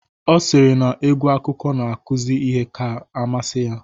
Ọ sịrị na egwu akụkọ na-akụzi ihe ka amasị ya